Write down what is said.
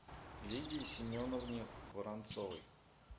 лидии семеновне воронцовой